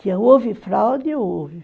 Que houve fraude, houve.